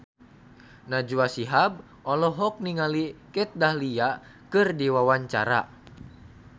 Najwa Shihab olohok ningali Kat Dahlia keur diwawancara